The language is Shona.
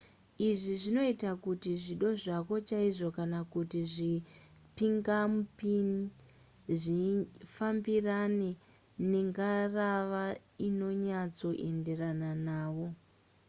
izvi zvinoita kuti zvido zvako chaizvo kana kuti zvipingamupinyi zvifambirane nengarava inonyatsoenderana navo